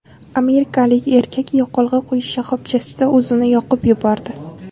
Amerikalik erkak yoqilg‘i quyish shoxobchasida o‘zini yoqib yubordi.